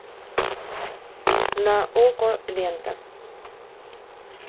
на окко лента